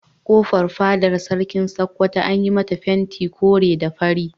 Kofar fadar Sarkin Sokoto an yi mata fenti kore da fari.